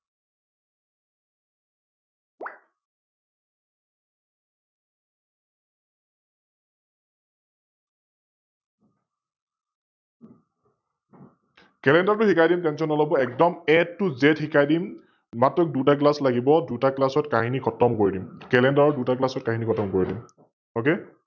Clender টো শিকাই দিম Tention নলব, একদম AToZ শিকাই দিম, মাত্ৰ দুটা Class লাগিব, দুটা Class ত কাহিনি খতম কৰি দিম, Clender ৰ দুটা class ত কাহিনি খতম কৰি দিম । Ok